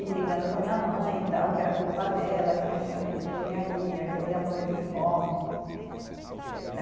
E brigando com a minha mãe, tal, que era culpa dela, que eu não tinha feito engenharia, que eu ia morrer de fome.